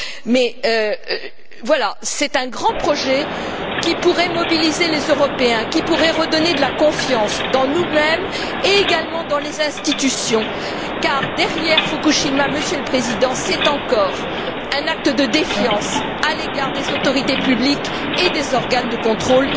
Mais voilà, c'est un grand projet qui pourrait mobiliser les Européens, qui pourrait redonner de la confiance dans nous mêmes et, également, dans les institutions, car derrière Fukushima, Monsieur le Président, c'est encore un acte de défiance à l'égard des autorités publiques et des organes de contrôle.